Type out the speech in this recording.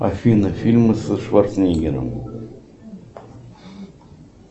афина фильмы со шварценеггером